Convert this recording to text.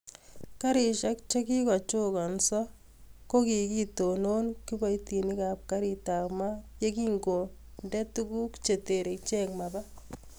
Karisiek chekikochokansoo ko kokitonon kipoitinik ap Kariit ap maat yegingondee tuguk chetere icheek mapaa